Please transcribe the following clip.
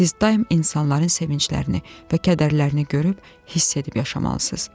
Siz daim insanların sevinclərini və kədərlərini görüb, hiss edib yaşamalısınız.